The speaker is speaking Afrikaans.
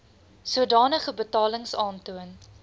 sodanige betalings aantoon